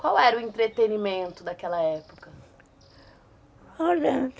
Qual era o entretenimento daquela época? Olha